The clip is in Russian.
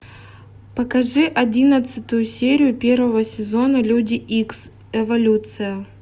покажи одиннадцатую серию первого сезона люди икс эволюция